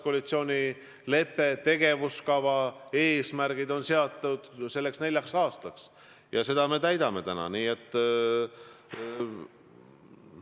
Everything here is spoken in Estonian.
Koalitsioonilepe, tegevuskava, eesmärgid on seatud neljaks aastaks ja seda lepet me täidame.